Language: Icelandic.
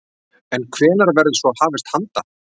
En hvenær verður svo hafist handa?